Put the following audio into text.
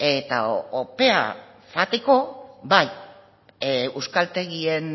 eta opera joateko bai euskaltegien